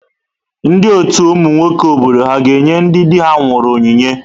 Ndị ọtù ụmụ nwoke obodo ha ga-enye ndị di ha nwụrụ onyinye?